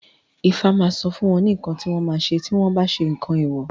Ifá ma sọ fún wọn ní nǹkan tí wọ́n ma ṣe tí wọ́n bá ṣe nǹkan èwọ̀